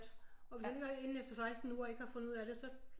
Og hvis han ikke har inden efter 16 uger ikke har fundet ud af det så